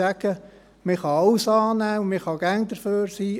Man kann alles annehmen und immer dafür sein.